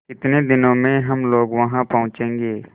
कितने दिनों में हम लोग वहाँ पहुँचेंगे